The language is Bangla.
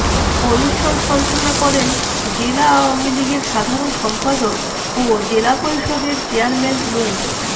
অনুষ্ঠান সঞ্চালনা করেন জেলা আওয়ামী লীগের সাধারণ সম্পাদক ও জেলা পরিষদের চেয়ারম্যান মো